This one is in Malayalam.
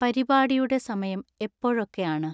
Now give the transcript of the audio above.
പരിപാടിയുടെ സമയം എപ്പോഴൊക്കെയാണ്